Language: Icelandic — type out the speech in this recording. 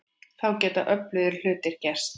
Þá geta öflugir hlutir gerst.